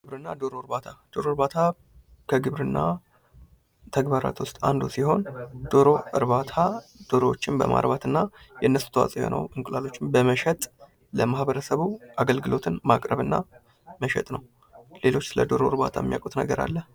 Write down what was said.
ግብርና ዶሮ እርባታ ዶሮ እርባታ ከግብርና ተግባራት ውስጥ አንዱ ሲሆን ዶሮ እርባታ ዶሮዎችን በማርባትና የነሱ ተዋፅዎ የሆነውን እንቁላሎችን በመሸጥ ለማ ህበረሰቡ አገልግሎትን ማቅረብና መሸጥ ነው። ሌሎች ስለደሮ እርባታ የሚያውቁት ነገር አለ?